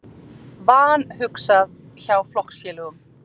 Vanhugsað hjá flokksfélögum